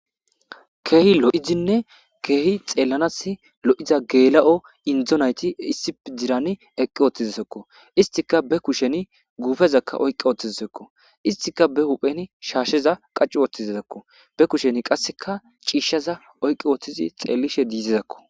keehi lo7izinne keehi xeellanas lo7iza geela7o indo nayti issip dirani eqqi woththizisekko istika be kusheni guufezakka oyqi ooththizsekko istika be hupheni shaasheza qacciu woththizizakko be kusheni qasseka ciishshaza oyqqi wooththizi xeellishe diisizakko